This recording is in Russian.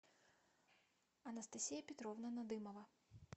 анастасия петровна надымова